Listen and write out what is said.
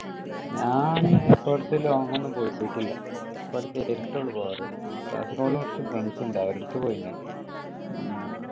ഞാൻ long ഒന്നും പോയിട്ടില്ല. പോകാറ് കാസർഗോഡ് കുറച്ചു friends ഉണ്ട് അവരുടെ അടുത്ത് പോയിനി.